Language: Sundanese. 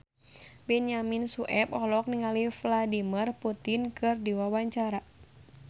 Benyamin Sueb olohok ningali Vladimir Putin keur diwawancara